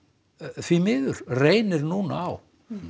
því miður reynir nú á